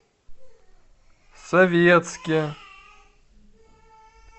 советске